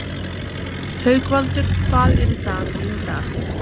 Haukvaldur, hvað er í dagatalinu í dag?